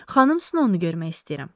Xanım Snowu görmək istəyirəm.